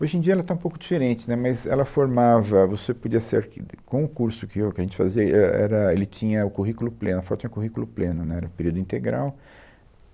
Hoje em dia ela está um pouco diferente, né, mas ela formava... Você podia ser arquit... Com o curso que eu, que a gente fazia, é era, ele tinha o currículo pleno, a FAU tinha currículo pleno, né, era período integral.